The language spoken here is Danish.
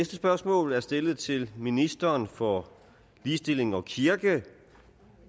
spørgsmål er stillet til ministeren for ligestilling og kirke